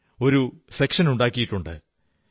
in ൽ ഒരു സെക്ഷനുണ്ടാക്കിയിട്ടുണ്ട്